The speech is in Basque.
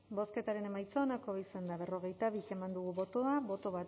bozketaren emaitza onako izan da berrogeita bi eman dugu bozka bat boto